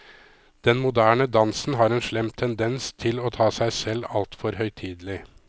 Den moderne dansen har en slem tendens til å ta seg selv altfor høytidelig.